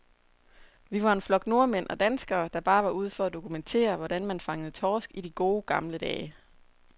Vi var en flok nordmænd og danskere, der bare var ude for at dokumentere, hvordan man fangede torsk i de gode, gamle dage.